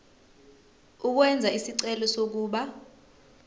ukwenza isicelo sokuba